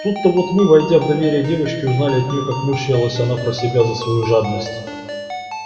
тут-то вот мы войдя в доверие девочки узнали от нее как мучилась она про себя за свою жадность